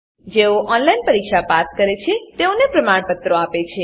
જેઓ ઓનલાઈન પરીક્ષા પાસ કરે છે તેઓને પ્રમાણપત્રો આપે છે